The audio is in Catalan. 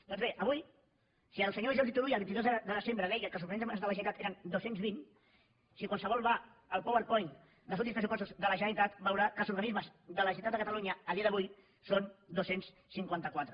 doncs bé avui si el senyor jordi turull el vint dos de setembre deia que els organismes de la generalitat eren dos cents i vint si qualsevol va al powerpoint dels últims pressupostos de la generalitat veurà que els organismes de la generalitat de catalunya a dia d’avui són dos cents i cinquanta quatre